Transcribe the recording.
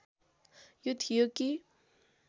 यो थियो कि